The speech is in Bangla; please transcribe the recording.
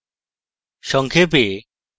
সংক্ষেপে: